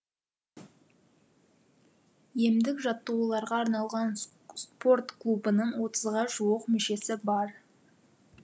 емдік жаттығуларға арналған спорт клубының отызға жуық мүшесі бар